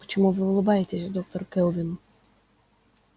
почему вы улыбаетесь доктор кэлвин